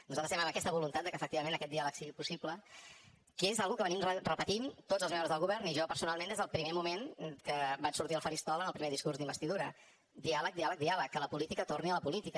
nosaltres estem amb aquesta voluntat que efectivament aquest diàleg sigui possible que és una cosa que hem repetit tots els membres del govern i jo personalment des del primer moment que vaig sortir al faristol en el primer discurs d’investidura diàleg diàleg diàleg que la política torni a la política